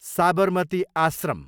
Sabarmati Ashram